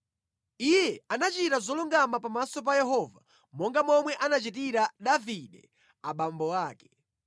Iye anachita zolungama pamaso pa Yehova, monga momwe anachitira Davide abambo ake.